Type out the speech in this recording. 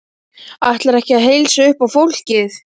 Ætlarðu ekki að heilsa upp á fólkið?